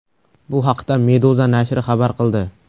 Bu haqda Meduza nashri xabar qildi .